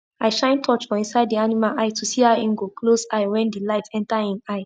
i shine torch for inside the animal eye to see how en go close eye when the light enter en eye